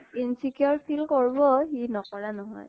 insecure feel কৰবʼ, সি নকৰা নহয় ।